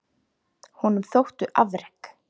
Honum þóttu afrek